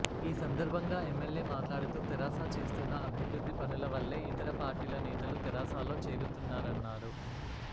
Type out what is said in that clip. ఈ సందర్బంగా ఎమ్మెల్యే మాట్లాడుతూ తెరాస చేస్తున్న అభివృద్ది పనుల వల్లే ఇతర పార్టి ల నేతలు తెరాసాలో చేరుతున్నారన్నారు